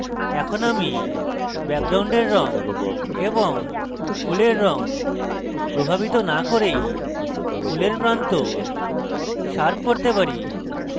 এখন আমি ব্যাকগ্রাউন্ডের রঙ এবং ফুলের রঙ প্রভাবিত now করেই ফুলের প্রান্ত শার্প করতে পারি